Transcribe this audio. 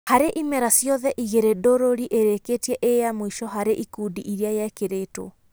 Harĩ imera ciothe igĩrĩ Ndũruri ĩrĩkĩtie ĩyamũico harĩ ikundi iria yekĩrĩtwo.